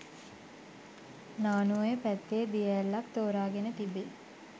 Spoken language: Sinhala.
නානුඔය පැත්තේ දිය ඇල්ලක් තෝරාගෙන තිබේ